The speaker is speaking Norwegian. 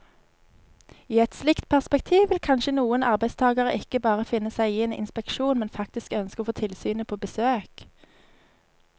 I et slikt perspektiv vil kanskje noen arbeidstagere ikke bare finne seg i en inspeksjon, men faktisk ønske å få tilsynet på besøk.